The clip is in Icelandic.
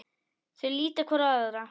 Þau líta hvort á annað.